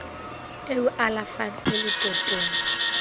e o alafang e letotong